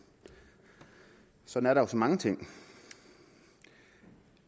sådan er så mange ting